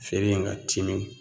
Feere in ga timi